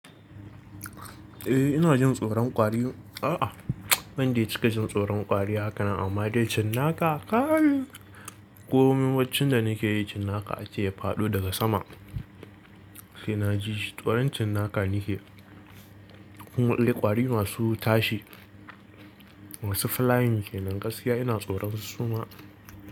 Eh ina jin tsoron ƙwari. A'a bande cika jin tsoron ƙwari haka nan, amma dai cinnaka kai. Ko min baccin da nake yi, cinnaka ace ya faɗo daga sama. Sai na ji shi. Tsoron cinnaka nakeyi. Kuma indai ƙwari masu tashi masu flying kenan, gaskiya ina tsoron su suma.